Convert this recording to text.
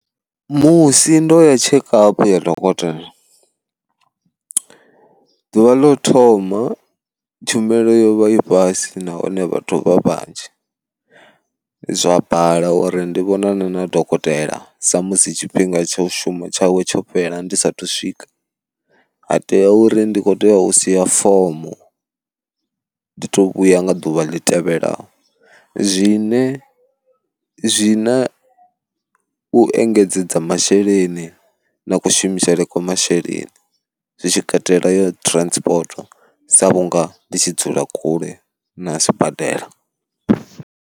Musi ndo ya tshekapu ya dokotela, ḓuvha ḽo thoma tshumelo yo vha i fhasi nahone vhathu vha vhanzhi, zwa bala uri ndi vhonane na dokotela sa musi tshifhinga tsha u shuma tshawe tsho fhela ndi sathu swika, ha tea uri ndi kho tea u sia fomo ndi to vhuya nga ḓuvha ḽi tevhelaho, zwine zwi na u engedzedza masheleni na kushumisele kwa masheleni zwitshi katela ya transport sa vhunga ndi tshi dzula kule na sibadela.